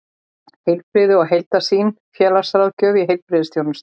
Heilbrigði og heildarsýn: félagsráðgjöf í heilbrigðisþjónustu.